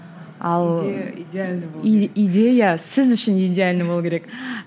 ал идея сіз үшін идеальный болу керек